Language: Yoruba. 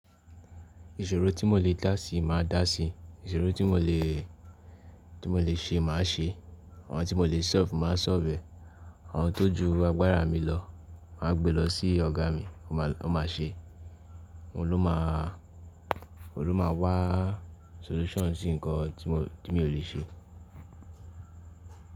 Ìṣòro tí mo lè dásí máa dásí, ìṣòro tí mo lè, tí mo lè ṣe máà ṣe, àwọn tí mo lè solve máa solve, àwọn tó ju agbára mi lọ má gbé lọ sí ọ̀gá mi ó ma ṣe, òun ló má, òun ló máa wá solution sí nǹkan tí mo lè ṣe.